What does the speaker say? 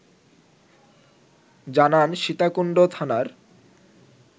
জানান সীতাকুণ্ড থানার